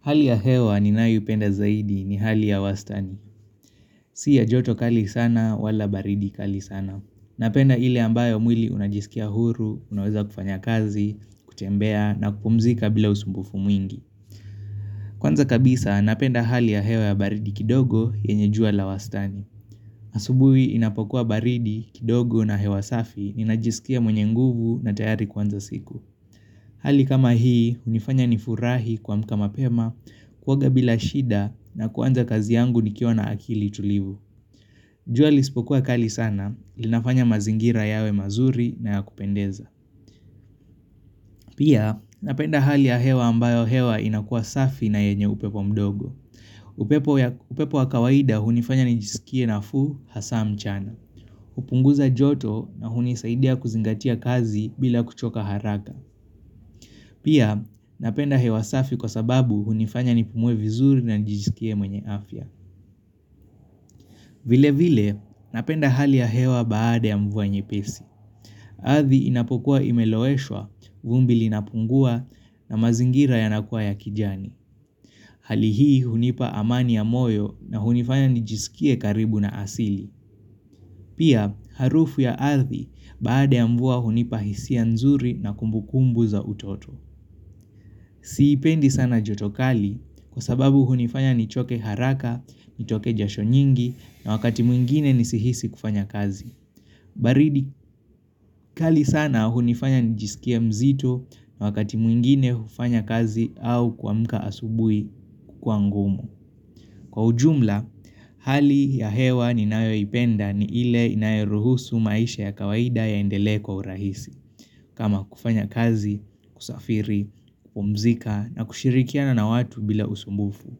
Hali ya hewa ninayoipenda zaidi ni hali ya wastani. Sio joto kali sana wala baridi kali sana. Napenda ile ambayo mwili unajisikia huru, unaweza kufanya kazi, kutembea na kupumzika bila usumbufu mwingi. Kwanza kabisa napenda hali ya hewa ya baridi kidogo yenye jua la wastani. Asubuhi inapokuwa baridi, kidogo na hewa safi ninajisikia mwenye nguvu na tayari kuanza siku. Hali kama hii, hunifanya nifurahi kuamka mapema kuoga bila shida na kuanza kazi yangu nikiwa na akili tulivu. Jua lisipokuwa kali sana, linafanya mazingira yawe mazuri na ya kupendeza. Pia, napenda hali ya hewa ambayo hewa inakuwa safi na yenye upepo mdogo. Upepo upepo wa kawaida, hunifanya nijisikie nafuu hasa mchana. Hupunguza joto na hunisaidia kuzingatia kazi bila kuchoka haraka. Pia, napenda hewa safi kwa sababu hunifanya nipumue vizuri na nijisikie mwenye afya. Vile vile, napenda hali ya hewa baada ya mvua nyepesi. Ardhi inapokuwa imeloeshwa, vumbi linapungua na mazingira yanakuwa ya kijani. Hali hi hunipa amani ya moyo na hunifanya njisikie karibu na asili. Pia, harufu ya ardhi baada ya mvua hunipa hisia nzuri na kumbukumbu za utoto. Siipendi sana joto kali kwa sababu hunifanya nichoke haraka, nitoke jasho nyingi na wakati mwingine nisihisi kufanya kazi. Baridi kali sana hunifanya nijisikie mzito na wakati mwingine hufanya kazi au kuamka asubuhi kukuwa ngumu. Kwa ujumla, hali ya hewa ninayo ipenda ni ile inayoruhusu maisha ya kawaida yaendele kwa urahisi. Kama kufanya kazi, kusafiri, kupumzika na kushirikiana na watu bila usumbufu.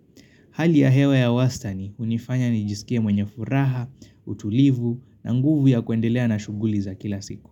Hali ya hewa ya wastani hunifanya nijisikia mwenye furaha, utulivu na nguvu ya kuendelea na shuguli za kila siku.